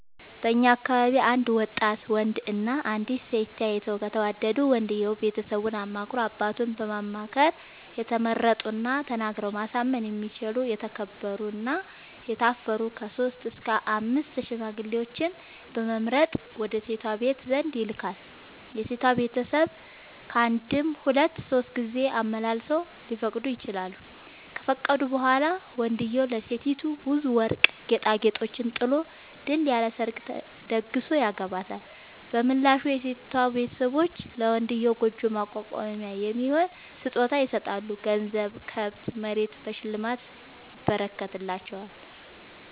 በእኛ አካባቢ አንድ ወጣት ወንድ እና አንዲት ሴት ተያይተው ከተወዳዱ ወንድየው ቤተሰቡን አማክሮ አባቱን በማማከር የተመረጡና ተናግረው ማሳመን የሚችሉ የተከበሩ እና የታፈሩ ከሶስት እስከ አምስት ሽማግሌዎችን በመምረጥ ወደ ሴቷ ቤተሰብ ዘንድ ይልካል። የሴቷ ቤተሰብ ካንድም ሁለት ሶስት ጊዜ አመላልሰው ሊፈቅዱ ይችላሉ። ከፈቀዱ በኋላ ወንድዬው ለሴቲቱ ብዙ ወርቅ ጌጣጌጦችን ጥሎ ድል ያለ ሰርግ ተደግሶ ያገባታል። በምላሹ የሴቷ ቤተሰቦች ለመንድዬው ጉጆ ማቋቋሚያ የሚሆን ስጦታ ይሰጣሉ ገንዘብ፣ ከብት፣ መሬት በሽልማት ይረከትላቸዋል።